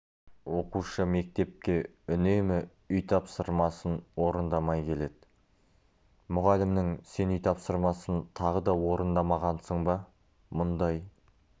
оқушы мектепке үнемі үй тапсырмасын орындамай келеді мұғалімнің сен үй тапсырмасын тағы да орындамағансың ба мұндай